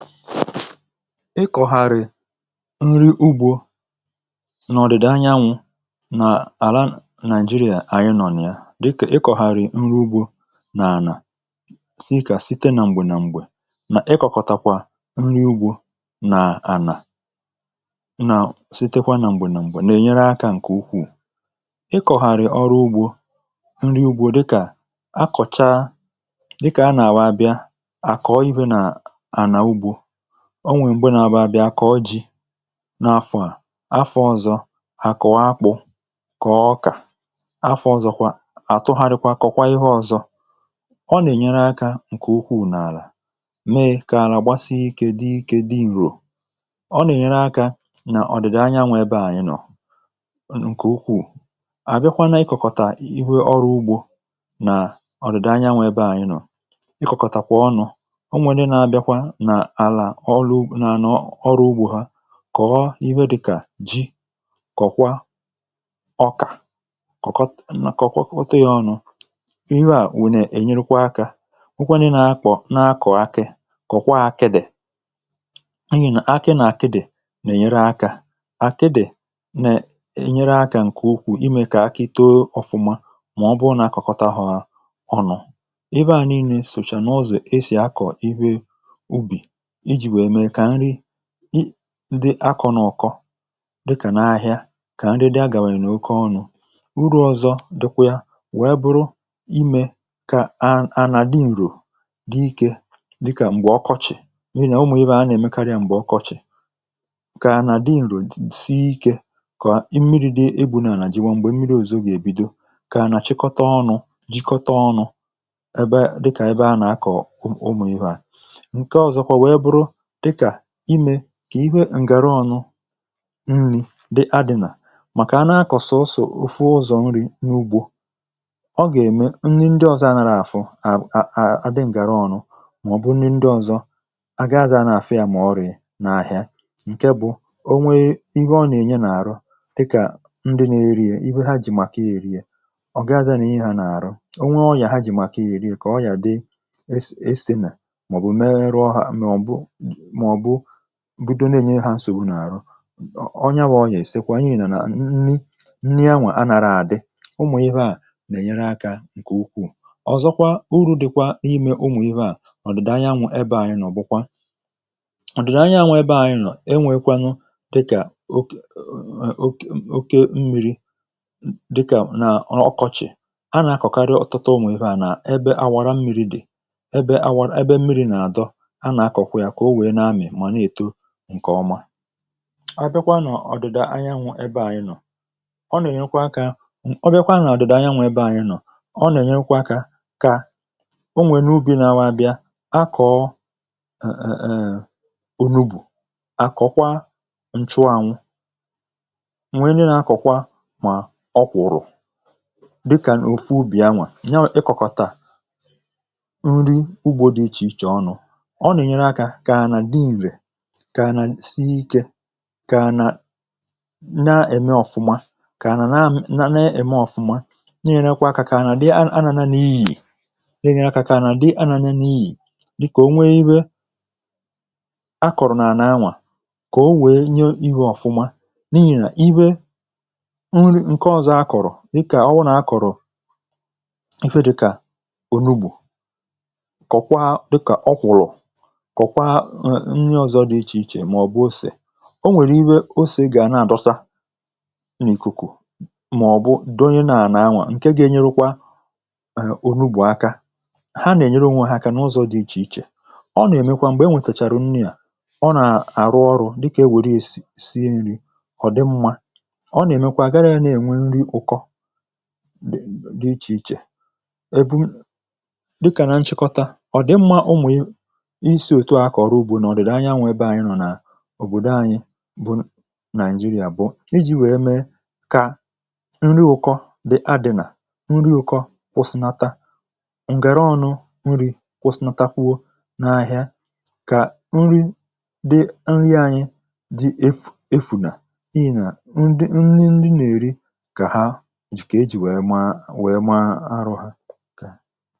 ịkọ̀gharị nri ugbȯ n’ọdịdị anyanwụ̇ nà àla naịjirịa anyị nọ nà ya dịkà ịkọ̀gharị nri ugbȯ nà ànà sìkà site nà m̀gbè nà m̀gbè nà ịkọ̀kọ̀takwa nri ugbȯ nà ànà nà sitekwa nà m̀gbè nà m̀gbè nà ènyere akȧ ǹkè ukwuù ịkọ̀gharị ọrụ ugbȯ nri ugbȯ dịkà akọ̀cha dịkà anà àwa bịa a kọ ihe n'ala ugbo onwè mgbe nà-àbụ abịà kà ọ ji n’afọ̇ à afọ̇ ọ̀zọ à kọ akpụ̇ kọ ọkà afọ̇ ọ̀zọ̀kwà àtụgharị kọ̀kwa ihe ọ̀zọ ọ nà-ènyere akȧ ǹkè ukwù n’àlà mee kà àlà gbasighi ikė di ikė di ìrò ọ nà-ènyere akȧ nà ọ̀dị̀dị anyanwụ̇ ebe à ya nọ ǹkè ukwù à bịakwa n’ikòkòtà ihu ọrụ̇ ugbȯ nà ọ̀dị̀dị anyanwụ̇ ebe à ya nọ ikòkòtàkwà ọnụ̇ ọrụ ugbȯ ha kọ̀ọ ihe dịkà ji kọ̀kwa ọkà kọ̀kọ otu ya ọnụ̇ ihe à nwèrè ènyerukwa akȧ nwụkwanụ nà akọ̀ na-akọ̀ akị kọ̀kwa akị dị̀ n’ihi nà akị nà-àkịdị̀ nà-ènyere akȧ àkịdị̀ nà-ènyere akȧ ǹkè okwu̇ imė kà akị too ọfụma mà ọbụụ nà akọ̀kọta hụ̇ hȧ ọnụ̇ ibeà nii̇nė sòchà n’ụzọ̀ esì akọ̀ ihe dị akọ̀ nọ̀kọ dịkà nà ahịa kà nri di agàwànyè n’oke ọnụ urù ọ̀zọ dịkwya wèe buru imė kà a nà di ǹrò dị ikė dịkà m̀gbè ọkọchị̀ n’unọ̀ọ̀ ihe a na-èmekarị m̀gbè ọkọchị̀ kà nà di ǹrò si ikė kà mmiri̇ di ebu̇nà jì wèe m̀gbè mmiri̇ òzò gà-èbido kà nà chịkọta ọnụ̇ jịkọta ọnụ̇ ebe a dịkà ebe a nà-akọ̀ ụmụ̀ ọ̀hụ̀ ihe a dịkà imė kà ihe ǹgàra ọnụ nni dị adị̀nà màkà a na-akọ̀sọ̀sọ̀ ofu ụzọ̀ nri̇ n’ugbȯ ọ gà-ème nni ndị ọ̀zọ anàrà àfụ à a a dị̇ ǹgàra ọnụ màọ̀bụ̀ nni ndị ọ̀zọ agaazị a nà-àfụ yȧ mà ọ rìrì n’àhịa ǹke bụ̀ o nwee ihe ọ nà-ènye n’àrọ dịkà ndị nà-èri ye ibe ha jì màkà ya èri ye ọ̀ ga-azị a n’ihì ha nà-àrọ o nwee ọrìà ha jì màkà ya èri ye kà ọrìà dị es ème màọ̀bụ̀ mee rụọ ha budo n’ènye ha nsògbu n’àrụ ọ nya wȧ ọ yà èsekwe kwa n’ihì nọ̀ nà nni nni anwụ̇ anàrà àdị ụmụ̀ ihe à nà-ènyere akȧ ǹkè ukwuù ọ̀zọkwa uru̇ dị̀kwȧ n’imė ụmụ̀ ihe à ọ̀ dị̀da anyanwụ̇ ebe ànyị nọ̀ ọ̀ bụ̀kwà ọ̀ dị̀da anyanwụ ebe ànyị nọ̀, enwėkwanwu dịkà oke oke oke mmiri̇ dịkà nà ọkọchị̀ a nà-akọ̀karị ọ̀tụtụ ụmụ̀ ihe à nà ebe awara mmiri̇ dị̀ ebe awara ebe mmiri̇ nà àdọ àbịakwa nọ̀ ọdịda anyanwụ̇ ebe anyị nọ̀ ọ nà-ènyekwa akȧ ọbịakwa nọ̀ ọdịda anyanwụ̇ ebe anyị nọ̀ ọ nà-ènyekwa akȧ kà onwè n’ubi̇ nȧ-awa abịa akọ̀ọ ònubù akọ̀kwa nchụ anwụ̇ nwè nà-akọ̀kwa mà ọkwụ̀rụ̀ dịkà òfu ubì anwà nyawà ịkọ̀kọtà nrị ugbȯ dị ịchị ịchọ ọnụ kà nà nsie ikė kà nà na-ème ọ̀fụma kà na na eme ọ̀fụma n’irekwa akȧ kà a nà dị anà n’iga dịnye akȧ kà a nà dị anà n’iga dịkà o nwee iwe akọ̀rọ̀ nà ànà anwà kà o nwee nye ihe ọ̀fụma niini nà iwe nri ǹke ọzọ akọ̀rọ̀ dịkà ọwụnà akọ̀rọ̀ efe dịkà ònubù kọ̀kwa dịkà ọkwụ̀rụ̀ o nwèrè ire o sì gà a nà-àdọsa n’ìkùkù màọ̀bụ dònye nàà nà-anwà ǹke ga-enyerukwa èè onugbù aka ha nà-ènyere onwe ha ha kànà ụzọ̇ dị ichè ichè ọ nà-èmekwa m̀gbè e nwètèchàrà unyi à ọ nà-àrụ ọrụ̇ dịkà e nwèrè ya si nri ọ̀ dị mmȧ ọ nà-èmekwa gara ya na-ènwe nri ụkọ dị ichè ichè èbụ ọ̀bụdo anyị̇ bụ nàịjịrị àbụọ iji̇ wèe mee kà nri ụkọ dị̀ a dị̀ nà nri ụkọ̇ kwụsịnata ngàra ọnụ̇ nri̇ kwụsịnata kwụọ n’ahịa kà nri dị nri̇ anyị dị efụ̀ efụ̀ nà ị nà ndị ndị nà-èri kà ha jìkà e jì wèe maa wèe maa arọ̇ hȧ